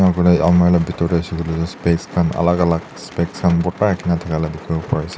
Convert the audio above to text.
alimarh laka pethor de hoishe koiley to specs khan alak alak spec khan bhurtha dekha la dekhibole bari ase.